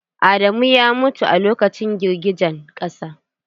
Adamu ya mutu a lokacin girgijen ƙasa.